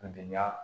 Gɛlɛya